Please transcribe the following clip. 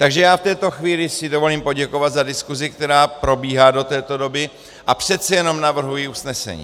Takže já v této chvíli si dovolím poděkovat za diskusi, která probíhá do této doby, a přece jenom navrhuji usnesení.